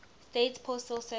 states postal service